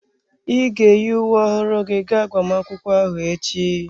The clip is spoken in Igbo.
Ị ga-eyi uwe ọhụrụ gị ga agbamakwụkwọ ahụ echi?